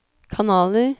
kanaler